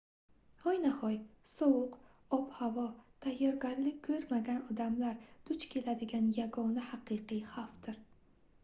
hoynahoy sovuq ob-havo tayyorgarlik koʻrmagan odamlar duch keladigan yagona haqiqiy xavfdir